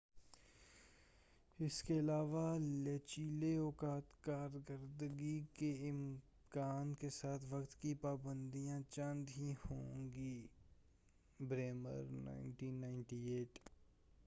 اس کے علاوہ، لچیلے اوقاتِ کار کردگی کے امکان کے ساتھ وقت کی پا بند یاں چند ہی ہوں گی بریمر، 1998ء۔